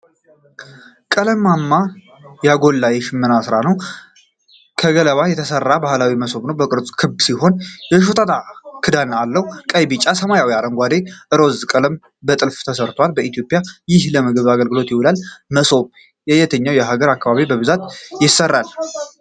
ቀለማት ያጎላ የሽመና ሥራ ነው። ከገለባ የተሠራ ባህላዊ መሶብ ነው። ቅርጹ ክብ ሲሆን የሾጣጣ ክዳን አለው። ቀይ፣ ቢጫ፣ ሰማያዊ፣ አረንጓዴና ሮዝማ ቀለሞች በጥልፍ ተሰርተዋል። በኢትዮጵያ ይህ ለምግብ አገልግሎት ይውላል። መሶብ በየትኞቹ የሀገራችን አካባቢዎች በብዛት ይሠራበታል?